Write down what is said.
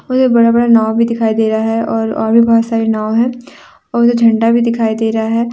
पूरे बड़ा बड़ा नाव भी दिखाई दे रहा है और और भी बहुत सारे नाव हैं और उधर झंडा भी दिखाई दे रहा है।